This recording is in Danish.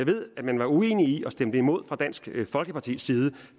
ved at man var uenige i og stemte imod fra dansk folkepartis side